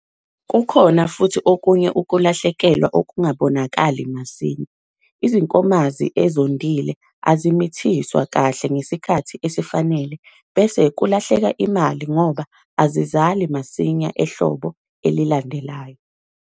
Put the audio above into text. Kukhona futhi okunye ukulahlekelwa okungabonokali masinya- izinkomazi ezondile azimithiswa kahle ngesikhathi esifanelekile bese kulahleka imali ngoba azizali masinya ehlobo elilandelayo.